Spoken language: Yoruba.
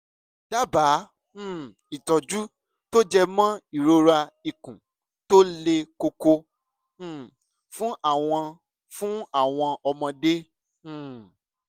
dábàá um ìtọ́jú tó jẹ mọ́ ìrora ikùn tó le koko um fún àwọn fún àwọn ọmọdé um